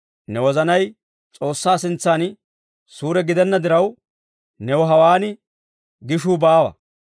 Ne wozanay S'oossaa sintsan suure gidenna diraw, new hawaan gishuu baawa.